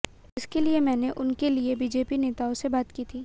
इसके लिए मैंने उनके लिए बीजेपी नेताओं से बात की थी